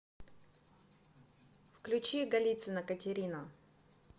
включи голицына катерина